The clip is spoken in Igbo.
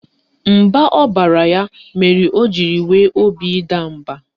Mba ọ baara ya mere o jiri nwee obi ịda mba